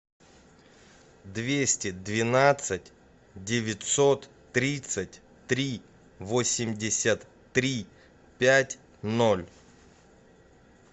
двести двенадцать девятьсот тридцать три восемьдесят три пять ноль